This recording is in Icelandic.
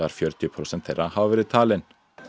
fjörutíu prósent þeirra hafa verið talin